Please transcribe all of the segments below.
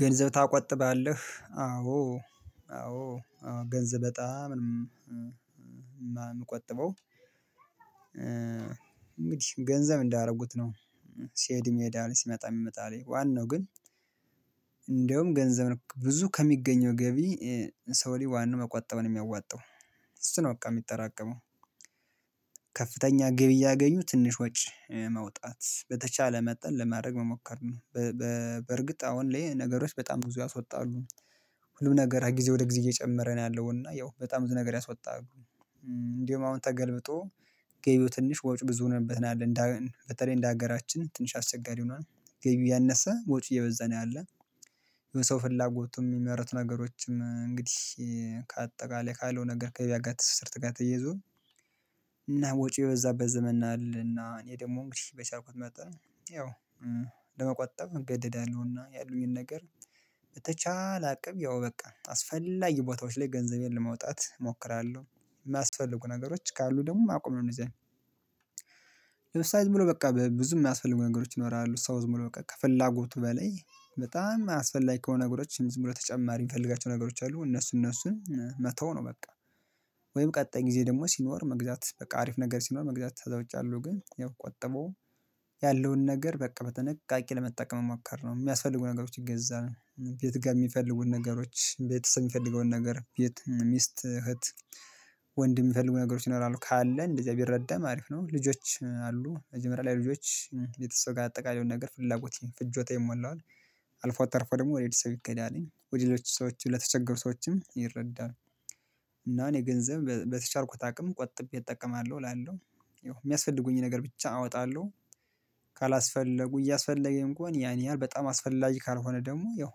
ገንዘብ ታቆጥባለህ አዎ አዎ ገንዘብ በጣም እምቆጥበው እንግዲህ ገንዘብ እንዳረጉት ነው። ሲሄድም ይሄዳል ሲመጣ ይመጣልኝ ዋናው ግን እንደውም ገንዘብ ብዙ ከሚገኘው ገቢ። ሰው ላይ ዋናው መቆጠብ ነው እሚያዋጣው እሱ ነው በቃ እሚጠራቀመው። ከፍተኛ ግቢ እያገኙ ትንሽ ወጪ ማውጣት በተቻለ መጠን ለማድረግ መሞከር ነው። አሁን ላይ ነገሮች በጣም ብዙ ያስወጣሉ። ሁሉም ነገር ከጊዜ ወደ ጊዜ እየጨመረ ነው ያለው እና ያው በጣም ብዙ ነገር ያስወጣል። እንዲሁም አሁን ተገልብጦ ገቢው ትንሽ ወጪ ብዙ ሆነበት ነው ያለን በተለይ እንደ ሀገራችን ትንሽ አስቸጋሪ ሆኗል። ገቢው ያነሰ ወጪ እየበዛ ነው ያለው። የሰው ፍላጎቱም እሚመረት ነገሮችም እንግዲህ ከአጠቃላይ ካለው ነገር ከገቢያ ትስርት ጋር ተይዞ እና ወጪው የበዛበት ዘመን አለና እኔ ደግሞ እንግዲህ በቻልኩት መጣን ያው ለመቆጠብ እገደዳለሁና ያሉኝን ነገር በተቻለ አቅም ያው በቃ አስፈላጊ ቦታዎች ላይ ገንዘቤን ለማውጣት እሞክራለሁ። እማያስፈልጉ ነገሮች ካሉ ደግሞ ማቆም ነው እነዚያዘን። ለምሳሌም ዝምብሎ በቃ ብዙ የማያስፈልጉ ነገሮች ይኖራሉ ሰው ዝም ብሎ ከፍላጎቱ በላይ በጣም አስፈላጊ ከሆነ ነገሮች ዝም ብሎ ተጨማሪ የምፈልጋቸው ነገሮች አሉ እነሱ እነሱን መተው ነው በቃ። ወይም ቀጣይ ጊዜ ደግሞ ሲኖር መግዛት በቃ አሪፍ ነገር ሲኖር መግዛት ከዛ ውጭ ያለው ግን ያው ቆጥቦ ያለውን ነገር በቃ በጥንቃቂ ለመጠቀም መሞከር ነው። የሚያስፈልጉ ነገሮችን ይገዛል ቤት ጋር የሚፈልጉት ነገሮች ቤት ምንፈልገውን ነገር ቤት ሚስት እህት ወንድም የሚፈልጉ ነገሮች ይኖራሉ ካለ እንደዚያ ቢረዳም አሪፍ ነው። ልጆች አሉ መጀመሪያ ለልጆች ቤተሰብ ጋር አጠቃላይ የሆነ ነገር ፍላጎት ፍጆታ ይሞላዋል። አልፎ ተርፎ ደግሞ ወደ ቤተሰብ ይኬዳልኝ ወደ ሌሎች ሰዎች ለተቸገሩ ሰዎችም ይረዳል እና እኔ ገንዘብ በተቻልኩት አቅም ቆጥቤ እጠቀማለሁ እላለሁ። ይው የሚያስፈልጉኝ ነገር ብቻ አወጣለሁ። ካላስፈለጉ እያስፈለገን ከሆነ ያን ያህል በጣም አስፈላጊ ካልሆነ ደግሞ ያው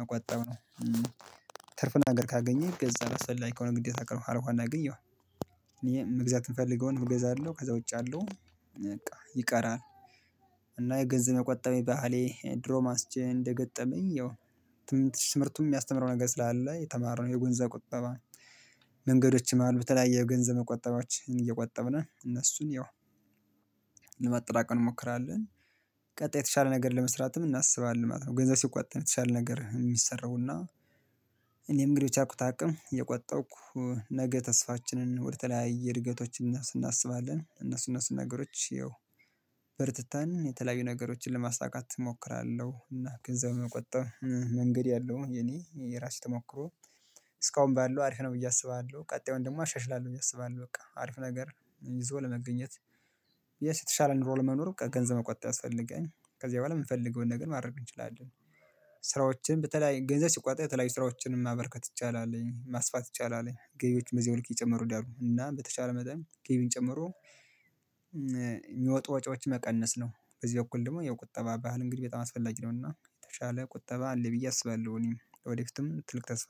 መቆጠብ ነው። ትርፍና ነገር ካገኘህ ይገዛል አስፈላጊ ከሆነ ግዴታ ካልሆነ ግን ያው መግዛት የምፈልገውን እገዛለው ከዛ ውጭ ያለው በቃ ይቀራል። እና የገንዘብ የመቆጠብ ባህሌ ድሮም አንስቼ እንደገጠመኝ ያው ትምህርቱን የሚያስተምረው ነገር ስላለ የተማርነው የገንዘብ ቁጠባ። መንገዶችም አሉ በተለያየ የገንዘብ መቆጠቢያዎችን እየቆጠብን እነሱን ያው ለማጠራቀም እንሞክራለን። ቀጣይ የተሻለ ነገር ለመስራትም እናስባለን ማለት ነው። ገንዘብ ሲቆጠብ ነው የተሻለ ነገር የሚሰራውና። እኔ እንግዲህ የቻልኩት አቅም እየቆጠብኩ ነገ ተስፋችንን ወደ ተለያየ እድገቶች እናስባለን እነሱ እነሱ ነገሮች በርትተን የተለያዩ ነገሮችን ለማሳካት እሞክራለሁ እና ገንዘብ መቆጠብ መንገድ ያለው የኔ የራሴ ተሞክሮ። እስካሁን ባለው አሪፍ ነው ብዬ አስባለሁ ቀጣዩን ደግሞ አሻሽላለሁ ብዬ አስባለሁ በቃ አሪፍ ነገር ይዞ ለመገኘት የተሻለ ኑሮ ለመኖር ገንዘብ መቆጠብ ያስፈልጋል። ከዚያ በኋላ የምንፈልገውን ነገር ማድረግ እንችላለን። ስራዎችን በተለይ ገንዘብ ሲቆጠብ የተለያዩ ስራዎችን ማበርከት ይቻላል ማስፋት ይቻላል ገቢዎች በዛው ልክ እየጨመሩ ይሄዳሉ እና በተቻለ መጠን ገቢን ጨምሮ። ወጪዎች መቀነስ ነው በዚህ በኩል ደግሞ የቁጠባ ባህል እንግዲህ በጣም አስፈላጊ ነውና የተሻለ ቁጠባ አለ ብዬ አስባለሁ። እኔም ወደፊትም ትልቅ ተስፋ